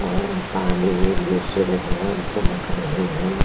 और पानी में भी सूर्य भगवान चमक रहे हैं।